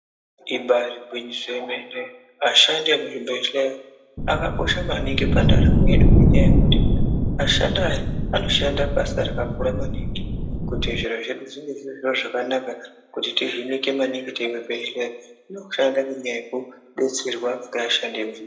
Ibaari gwinyiso remene ashandi muzvibhehlera akakosha maningi pandaramo yedu ngendaa yekuti ashandi aya anoshanda basa rakakura maningi kuti zviro zvedu zvinge zviri zvakanaka kuti tihiinike maningi teienda kuzvibhehlera, anoshanda ngendaa yekudetserwa ngeeashandi imu.........